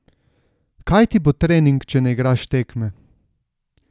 Kaj ti bo trening, če ne igraš tekme?